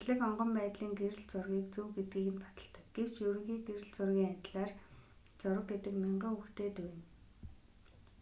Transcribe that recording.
зэрлэг онгон байдлын гэрэл зургийг зөв гэдгийг нь баталдаг гэвч ерөнхий гэрэл зургийн адилаар зураг гэдэг мянган үгтэй дүйнэ